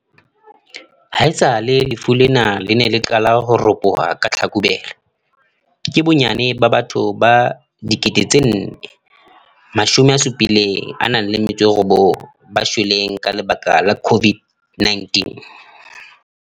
Haesale lefu lena le ne le qale ho ropoha ka Tlhakubele, ke bonnyane ba batho ba 4 079 ba shweleng ka lebaka la COVID-19.